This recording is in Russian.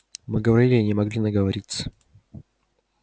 мы говорили и не могли наговориться